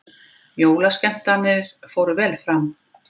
Jólaskemmtanir fóru vel fram